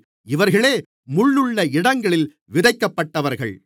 இவர்களே முள்ளுள்ள இடங்களில் விதைக்கப்பட்டவர்கள்